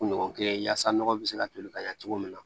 Kun ɲɔgɔn kelen yaasa nɔgɔ bɛ se ka toli ka ɲɛ cogo min na